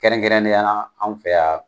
Kɛrɛnkɛrɛnnenya la an fɛ yan